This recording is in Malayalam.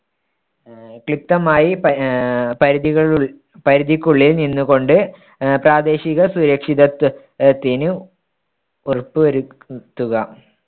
ആഹ് ക്ലിപതമായി പ ആഹ് പരിധികൾ പരിധിക്കുള്ളിൽ നിന്നുകൊണ്ട് അഹ് പ്രാദേശിക സുരക്ഷിതത്വ~ത്തിന് ഉറപ്പുവരു~ത്തുക